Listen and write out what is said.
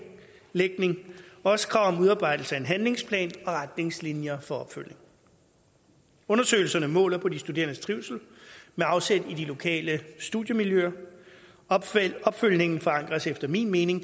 også krav om udarbejdelse af en handlingsplan og retningslinjer for opfølgelse undersøgelserne måler på de studerendes trivsel med afsæt i de lokale studiemiljøer og opfølgningen forankres efter min mening